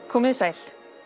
komið þið sæl